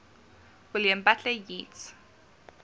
william butler yeats